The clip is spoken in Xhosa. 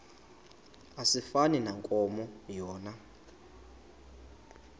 asifani nankomo yona